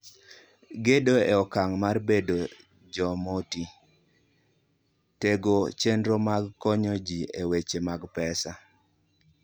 Gedo e Okang ' mar Bedo Jomoti: Tego chenro mag konyo ji e weche mag pesa.